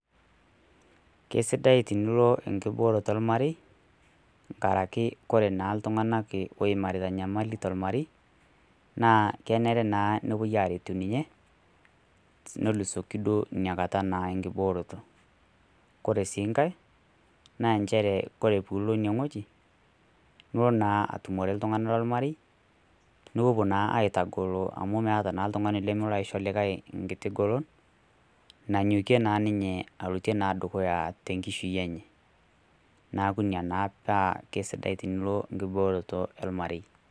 Keisidai tenilo enkibooroto olmarei, naa kenare naa nepuoi aretu ninye nelusoki naa inakata enkibooroto. Kore sii nkai naa nchere kore pee ilo ine wueji nilo naa atumore iltung'ana lolmarei, nipuopuo naa aitagolo amu meata naa oltung'ani lolo aisho olikai engolon, nanyokie naa ninye alotie dukuya, te enkishui enye, neaku ina naa pee sidai piilo enkibooroto olmarei.